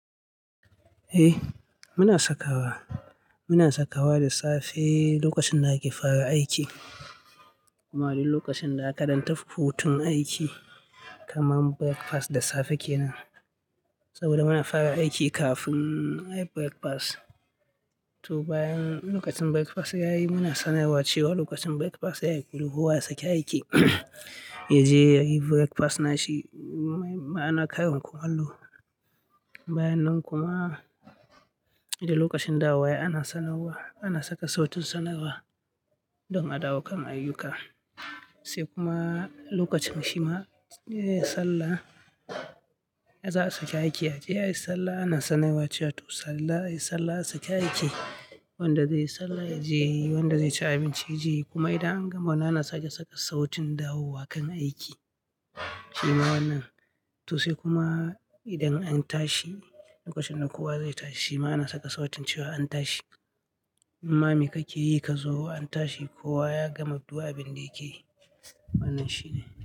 Eh muna sakawa, muna sakawa da safe lokacin da ake fara aiki. Kuma lokacin da aka dan tafi hutun aiki kamar breakfast da safe kenan. Saboda muna fara aiki kafin ayi breakfast. To bayan lokacin breakfast yayi muna sanarwa cewa lokacin breakfast yayi kowa ya sake aiki. Yaje yayi breakfast nashi ma'ana karin kumallo. Bayananan kuma idan lokacin dawowa yayi ana sanarwa, ana saka sautun sanarwa don a dawo kan ayyuka. Sai kuma lokacin shima, eh sallah za a sake aiki yaje yayi sallah ana sanarwa cewa to sallah yayi sallah sake aiki. Wanda zai yi sallah yaje, wanda zai ci abinci yaje kuma idan an gama muna na sake saka sautin dawowa kan aiki. Shi ma wannan. To sai kuma idan an tashi lokacin da kowa zai tashi ma ana saka sautin cewa an tashi. "Imma me kake yi ka zo an tashi kowa ya gama du abin da yake yi." Wannan shine.